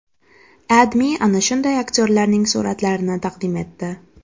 AdMe ana shunday aktyorlarning suratlarini taqdim etdi .